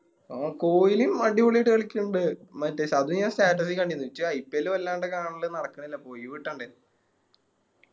ആ കോഹ്ലി അടിപൊളിയായിട്ട് കളിക്ക്ണ്ട് മറ്റേ അത് ഞാൻ Status ഇൽ കണ്ടിന് എനിക്ക് IPL വല്ലാണ്ട് കാണല് നടക്കണില്ല പോ ഓയിവ് കിട്ടണ്ടേ